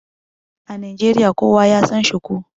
A Najeriya, kowa ya San shuku.